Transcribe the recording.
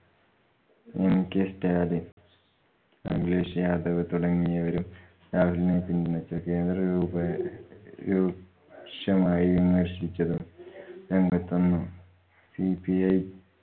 mk Stalin, Akhilesh Yadav തുടങ്ങിയവരും രാഹുലിനെ പിന്തുണച്ചു. കേന്ദ്രത്തെ രൂപെ~ രൂക്ഷമായി വിമർശിച്ചതും രംഗത്തുവന്നു. cpi